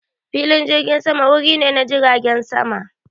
Filin jirgin sama wuri ne na jiragen sama.